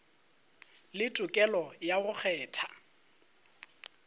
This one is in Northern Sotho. le tokelo ya go kgetha